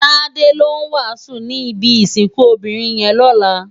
Tade ló wásùn ni ibi isikùn óbirin yèn lòlá